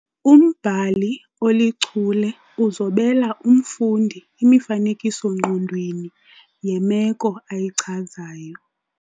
Umbhali olichule uzobela umfundi imifanekiso-ngqondweni yemeko ayichazayo.